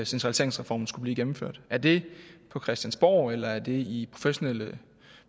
centraliseringsreformen skulle blive gennemført er det på christiansborg eller er det i professionelle